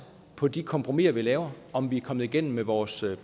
på de kompromiser vi laver om vi er kommet igennem med vores